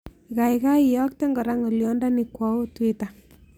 Gagai iyokten koraa ngolyondonii kwaoo twita